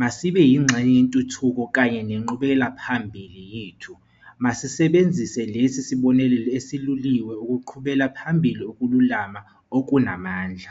Masibe yingxenye yentuthuko kanye nenqubekelaphambili yethu. Masisebenzise lesi sibonelelo eseluliwe ukuqhubela phambili ukululama okunamandla.